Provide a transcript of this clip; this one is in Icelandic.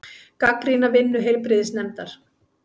Gagnrýna vinnu heilbrigðisnefndar